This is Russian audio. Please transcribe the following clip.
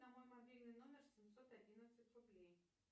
на мой мобильный номер семьсот одиннадцать рублей